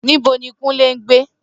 Nibo ni Kunle ngbe?